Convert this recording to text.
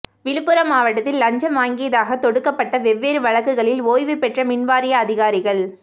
விழுப்புரம் மாவட்டத்தில் லஞ்சம் வாங்கியதாக தொடுக்கப்பட்ட வெவ்வேறு வழக்குகளில் ஓய்வு பெற்ற மின் வாரிய அதிகாரிகள்